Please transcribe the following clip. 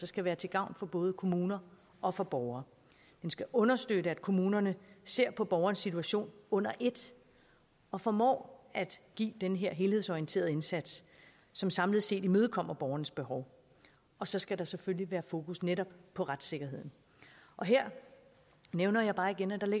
skal være til gavn for både kommuner og for borgere den skal understøtte at kommunerne ser på borgernes situation under et og formår at give den her helhedsorienterede indsats som samlet set imødekommer borgernes behov og så skal der selvfølgelig være fokus netop på retssikkerheden her nævner jeg bare igen at